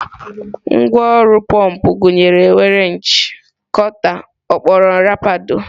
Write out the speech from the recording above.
Ngwá ọrụ pọmpụ gụnyere wrenchi, kota, ọkpọrọ nrapado.